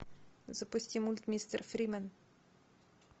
запусти мульт мистер фримен